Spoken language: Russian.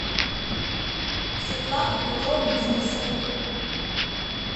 светлане петровне денисовой